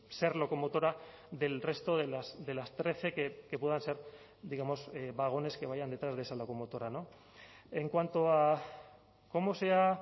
ser locomotora del resto de las trece que puedan ser digamos vagones que vayan detrás de esa locomotora en cuanto a cómo se ha